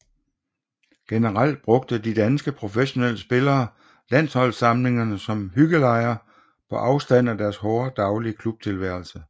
Generelt brugte de danske professionelle spillere landsholdssamlingerne som hyggelejre på afstand af deres hårde daglige klubtilværelse